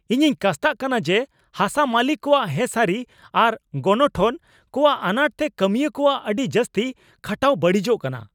ᱤᱧᱤᱧ ᱠᱟᱥᱛᱟᱜ ᱠᱟᱱᱟ ᱡᱮ ᱦᱟᱥᱟ ᱢᱟᱹᱞᱤᱠ ᱠᱚᱣᱟᱜ ᱦᱮᱸᱥᱟᱹᱨᱤ ᱟᱨ ᱜᱚᱱᱚᱴᱷᱚᱱ ᱠᱚᱣᱟᱜ ᱟᱱᱟᱴ ᱛᱮ ᱠᱟᱹᱢᱤᱭᱟᱹ ᱠᱚᱣᱟᱜ ᱟᱹᱰᱤ ᱡᱟᱹᱥᱛᱤ ᱠᱷᱟᱴᱟᱣ ᱵᱟᱹᱲᱤᱡᱚᱜ ᱠᱟᱱᱟ ᱾